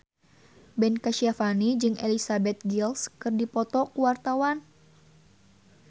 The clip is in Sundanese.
Ben Kasyafani jeung Elizabeth Gillies keur dipoto ku wartawan